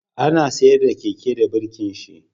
Ana tsaida Keke da birkin shi